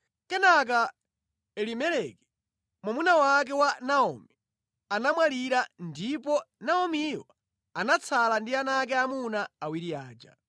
Kenaka Elimeleki, mwamuna wake wa Naomi anamwalira ndipo Naomiyo anatsala ndi ana ake aamuna awiri aja.